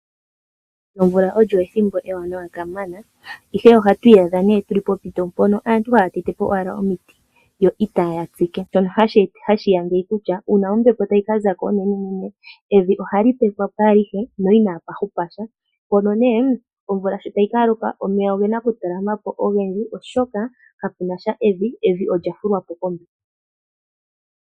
Omvula olyo ethimbo ewanawa kamana, ihe ohatu iyadha ne tuli pompito mpono aantu haya tetepo owala omiti yo itaya tsike, shono hashiya ngeyi kutya, uuna ombepo tayi ka zako onene, evi ohali pepwapo alihe no inapahupa sha , mpono ne omvula sho tayi kaloka omeya ogena okutalama po ogendji oshoka, kaputya evi, evi olya hilwa po kombepo.